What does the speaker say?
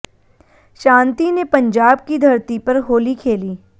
शांति ने पंजाब की धरती पर होली खेली